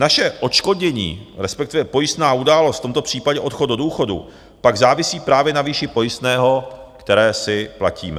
Naše odškodnění, respektive pojistná událost, v tomto případě odchod do důchodu, pak závisí právě na výši pojistného, které si platíme.